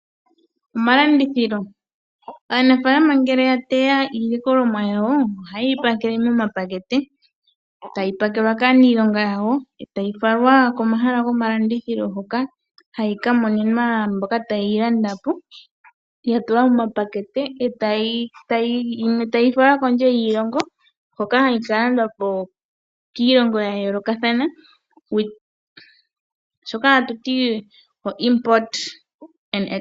Omalandithilo , aanafalama ngele ya teya iilikolomwa yawo ohaye yi pakele momapakete tayi pakelwa kaanilonga yawo, e tayi falwa komahala gomalandithilo hoka hayi ka monenwa mboka taye yi landapo, ya tulwa momapakete yimwe tayi yi kondje yiilongo hoka hayi ka landwapo kiilongo ya yoolokathana shono ha tuti import and export.